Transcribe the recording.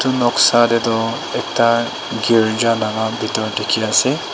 Noksa dae tuh ekta kerjalaga bedor dekhe ase.